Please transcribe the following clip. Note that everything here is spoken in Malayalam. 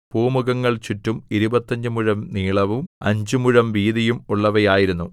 പൂമുഖങ്ങൾ ചുറ്റും ഇരുപത്തഞ്ച് മുഴം നീളവും അഞ്ചുമുഴം വീതിയും ഉള്ളവയായിരുന്നു